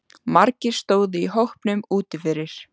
Margir stóðu í hópum úti fyrir.